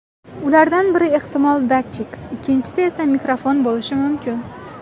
Ulardan biri ehtimol datchik, ikkinchisi esa mikrofon bo‘lishi mumkin.